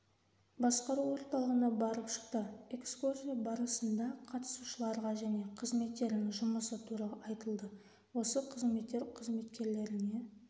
басқару орталығына барып шықты экскурсия барысында қатысушыларға және қызметтерінің жұмысы туралы айтылды осы қызметтер қызметкерлеріне